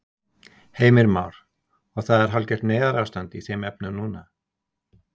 Heimir Már: Og það er hálfgert neyðarástand í þeim efnum núna?